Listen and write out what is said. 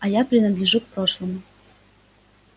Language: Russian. а я принадлежу к прошлому